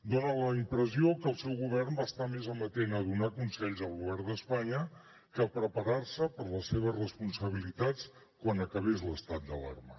dona la impressió que el seu govern va estar més amatent a donar consells al govern d’espanya que a preparar se per a les seves responsabilitats quan acabés l’estat d’alarma